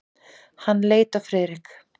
Hann leit á Friðrik.